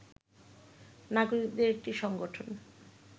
নাগরিকদের একটি সংগঠন